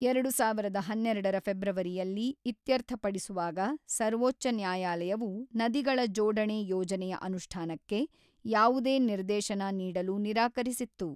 ಎರಡು ಸಾವಿರದ ಹನ್ನೆರಡರ ಫೆಬ್ರವರಿಯಲ್ಲಿ ಇತ್ಯರ್ಥಪಡಿಸುವಾಗ, ಸರ್ವೋಚ್ಚ ನ್ಯಾಯಾಲಯವು ನದಿಗಳ ಜೋಡಣೆ ಯೋಜನೆಯ ಅನುಷ್ಠಾನಕ್ಕೆ ಯಾವುದೇ ನಿರ್ದೇಶನ ನೀಡಲು ನಿರಾಕರಿಸಿತ್ತು.